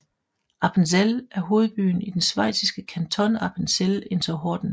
Appenzell er hovedbyen i den schweiziske kanton Appenzell Innerrhoden